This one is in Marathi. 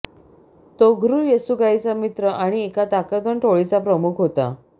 तोघरुल येसुगाईचा मित्र आणि एका ताकदवान टोळीचा प्रमुख होता